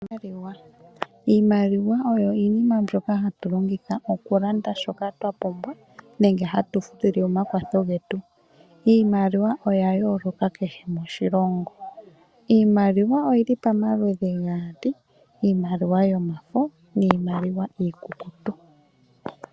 Iimaliwa Iimaliwa oyo iinima mbyoka hatu longitha okulanda shoka twa pumbwa, nenge hatu futile omakwatho getu. Iimaliwa oya yooloka kehe moshilongo. Iimaliwa oyi li pamaludhi ga yooloka geli gaali, iimaliwa yomafo niimaliwa iikukutu.